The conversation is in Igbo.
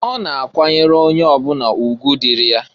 Ọ na-akwanyelụ onye ọbụla ugwu dịịrị ya.